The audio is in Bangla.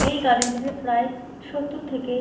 এই গার্ডেন টিতে প্রায় সত্তর থেকে--